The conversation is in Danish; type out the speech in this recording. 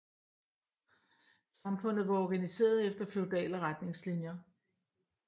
Samfundet var organiseret efter feudale retningslinjer